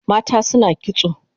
Mata suna kitso